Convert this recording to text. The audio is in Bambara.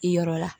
I yɔrɔ la